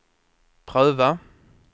pröva